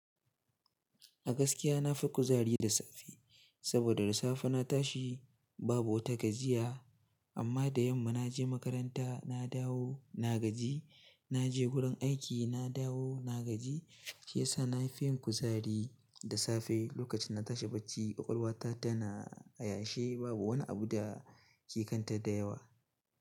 A gaskiya nafi kuzari da safe saboda da safe na tashi babu wata gajiya amma da yamma naje makaranta, na dawo na gaji, naje wurin aiki, na dawo na gaji, shi yasa nafi yin kuzari da safe. Lokacin na tashi bacci ƙwaƙwalwa ta tana a yashe, babu wani abu da ke kanta da yawa.